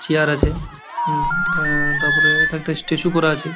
Chair আছে উম আ তারপরে একটা স্ট্যাচু করা আছে।